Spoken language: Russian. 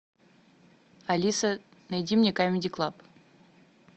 алиса найди мне камеди клаб